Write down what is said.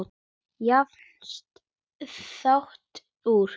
Jafnast það út?